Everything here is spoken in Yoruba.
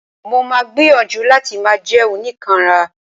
Mo ma gbìyànjú láti máà jẹ́ oníkanra.